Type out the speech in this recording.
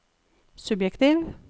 subjektiv